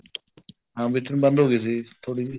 ਹਾਂ ਵਿੱਚ ਨੂੰ ਬੰਦ ਹੋ ਗਈ ਸੀ ਥੋੜੀ ਜਿਹੀ